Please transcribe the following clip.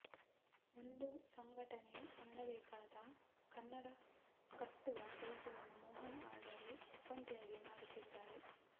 ಒಂದು ಸಂಘಟನೆ ಮಾಡಬೇಕಾದ ಕನ್ನಡಕಟ್ಟುವ ಕೆಲಸವನ್ನು ಮೋಹನ್ ಆಳ್ವರು ಒಬ್ಬಂಟಿಯಾಗಿ ಮಾಡುತ್ತಿದ್ದಾರೆ